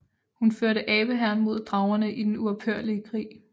Hun førte abe hæren mod dragerne i den uophørlige krig